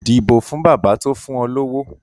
Dìbò fún bàbá tó fún ọ lówó